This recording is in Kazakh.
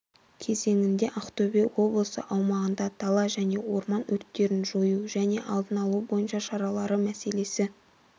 кезеңінде ақтөбе облысы аумағында дала және орман өрттерін жою және алдын алу бойынша шаралары мәселесі